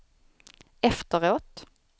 efteråt